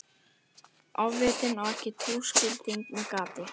Ofvitinn á ekki túskilding með gati.